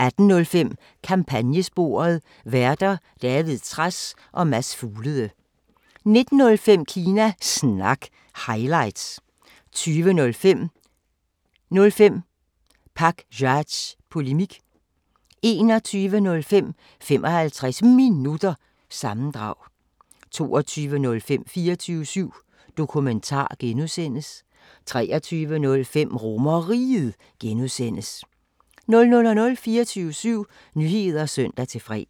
18:05: Kampagnesporet: Værter: David Trads og Mads Fuglede 19:05: Kina Snak – highlights 20:05: 05 Pakzads Polemik 21:05: 55 Minutter – sammendrag 22:05: 24syv Dokumentar (G) 23:05: RomerRiget (G) 00:00: 24syv Nyheder (søn-fre)